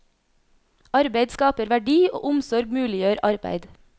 Arbeid skaper verdi, og omsorg muliggjør arbeid.